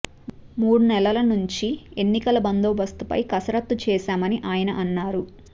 మూడు నెలల నుంచి ఎన్నికల బందోబస్తుపై కసరత్తు చేశామని ఆయన అన్నారు